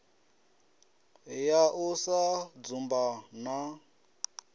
ya u sa dzumba na